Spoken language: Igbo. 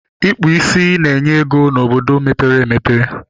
Ịkpụ ísí na-enye ego n'obodo mepere emepe